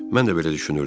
Mən də belə düşünürdüm.